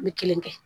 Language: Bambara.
N bɛ kelen kɛ